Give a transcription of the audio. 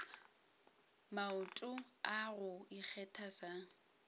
maoto a go ikgetha sa